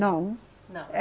Não. Não. Eh